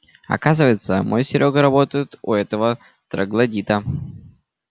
оказывается мой серёга работает у этого троглодита